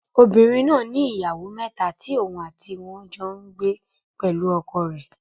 Obìnrin náà ni ìyàwó mẹ́ta tí òun àti wọn jọ n gbé pẹ̀lú ọkọ rẹ̀